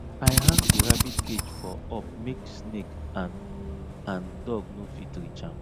i hang di rabbit cage for up make snake and and dog no fit reach am